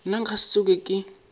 nna nka se tsoge ke